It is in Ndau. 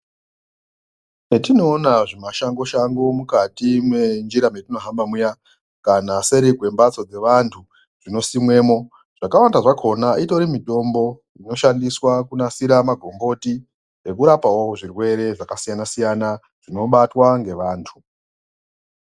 Zvetinoona zvimashango shango mukati menjira patinohamba muya kana seri kwembatso kwevantu dzinosimwe mo dzakawanda dzakona utori mutombo inoshandiswa kunasire magomboti nekurapawo zvirwere zvakasiyana siyana zvinobatwa nevantu.